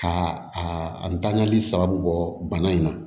Ka a ntanyali sababu bɔ bana in na